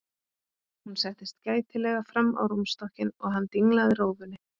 Hún settist gætilega fram á rúmstokkinn og hann dinglaði rófunni.